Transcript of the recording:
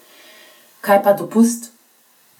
Kaj pa dopust?